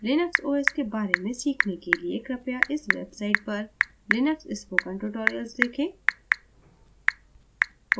linux os के बारे में सीखने के लिए कृपया इस website पर linux spoken tutorials देखें